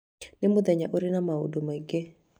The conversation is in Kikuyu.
nĩ mũthenya ũrĩ na maũndũ maingĩ